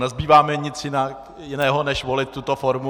Nezbývá mi nic jiného než volit tuto formu.